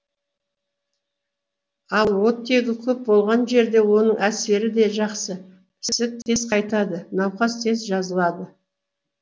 ал оттегі көп болған жерде оның әсері де жақсы ісік тез қайтады науқас тез жазылады